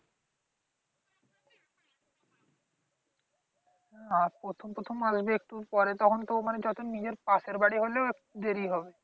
আর প্রথম প্রথম আসবে একটু। পরে তখন তো মানে যতদিন নিজের পাশের বাড়ি হলেও একটু দেরি হবে।